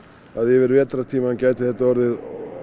að yfir vetrartímann gæti þetta orðið